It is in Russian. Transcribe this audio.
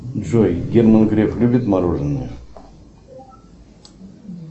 джой герман греф любит мороженое